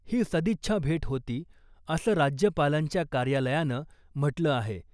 ही सदिच्छा भेट होती , असं राज्यपालांच्या कार्यालयानं म्हटलं आहे .